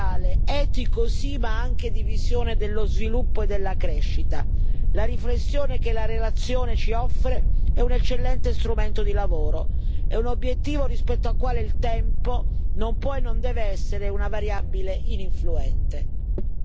È un tema cruciale, etico, sì, ma anche di visione dello sviluppo e della crescita. La riflessione che la relazione ci offre è un eccellente strumento di lavoro, è un obiettivo rispetto al quale il tempo non può e non deve essere una variabile ininfluente.